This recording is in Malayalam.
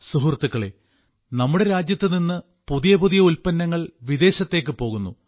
സുഹൃത്തുക്കളേ നമ്മുടെ രാജ്യത്തുനിന്ന് പുതിയ പുതിയ ഉല്പ്പന്നങ്ങൾ വിദേശത്തേക്ക് പോകുന്നു